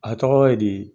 A tɔgɔ ye di